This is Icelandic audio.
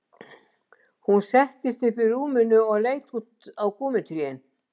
Hún settist upp í rúminu og leit út á gúmmítrén